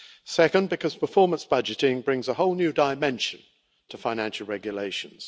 Secondly, because performance budgeting brings a whole new dimension to financial regulations.